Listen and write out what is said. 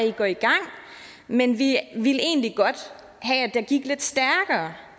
i går i gang men vi ville egentlig godt have at det gik lidt stærkere